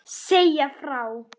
Segja frá.